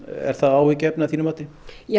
er það áhyggjuefni að þínu mati